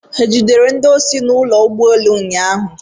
E jidere ndị ohi n'ụlọ ụgbọelu ụnyaahụ?